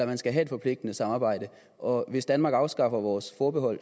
man skal have et forpligtende samarbejde og hvis danmark afskaffer vores forbehold